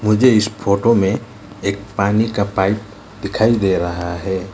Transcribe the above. मुझे इस फोटो में एक पानी का पाइप दिखई दे रहा है।